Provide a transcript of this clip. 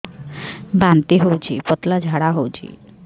ବାନ୍ତି ହଉଚି ପତଳା ଝାଡା ହଉଚି